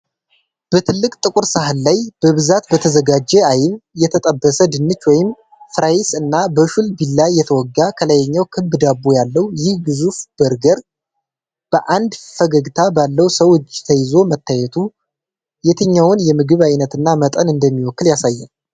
በትልቅ ጥቁር ሰሃን ላይ፣ በብዛት በተዘጋጀ አይብ፣ የተጠበሰ ድንች (ፍራይስ) እና በሹል ቢላ የተወጋ ከላይኛው ክብ ዳቦ ያለው ይህ ግዙፍ በርገር፣ በአንድ ፈገግታ ባለው ሰው እጅ ተይዞ መታየቱ። የትኛውን የምግብ አይነትና መጠን እንደሚወክል ያሳያል?